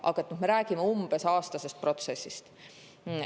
Aga me räägime umbes aastasest protsessist.